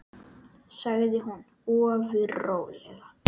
sagði hún ofur rólega.